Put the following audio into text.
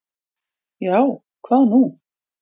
"""Já, hvað er nú?"""